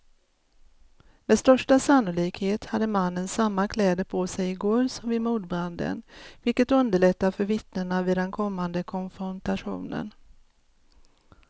Med största sannolikhet hade mannen samma kläder på sig i går som vid mordbranden, vilket underlättar för vittnena vid den kommande konfrontationen.